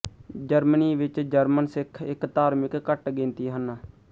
Germany ਵਿੱਚ German ਸਿੱਖ ਇੱਕ ਧਾਰਮਿਕ ਘੱਟ ਗਿਣਤੀ ਹਨ